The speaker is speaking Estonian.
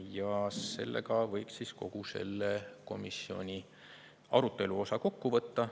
Ja sellega võib kogu selle komisjoni arutelu kokku võtta.